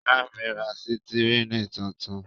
Ìyá mi ra sítẹ́rínì tuntun.